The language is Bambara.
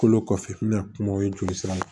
Kolo kɔfɛ n bɛna kumaw ye joli sira la